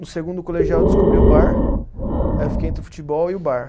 No segundo colegial eu descobri o bar, aí eu fiquei entre o futebol e o bar.